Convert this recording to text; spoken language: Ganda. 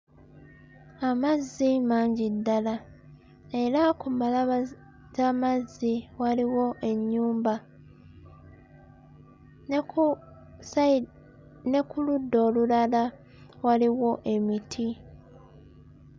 Amazzi mangi ddala era ku mbalaba z'amazzi waliwo ennyumba ne ku ssayi ne ku ludda olulala waliwo emiti.